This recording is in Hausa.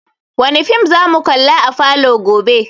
Wani fim za mu kalla a falo gobe?